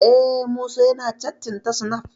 Eh, Musa yana cattin ta snaf